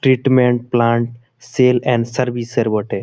টেটমেন্ট plant sale and service আর বটে।